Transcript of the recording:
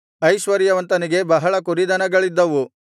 ಐಶ್ವರ್ಯವಂತನಿಗೆ ಬಹಳ ಕುರಿದನಗಳಿದ್ದವು